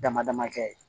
Dama dama kɛ